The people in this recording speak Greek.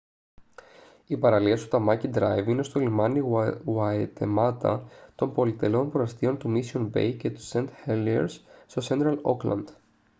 οι παραλίες του tamaki drive είναι στο λιμάνι waitemata των πολυτελών προαστίων του mission bay και st heliers στο central auckland